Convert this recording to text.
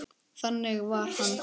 Þannig var hann.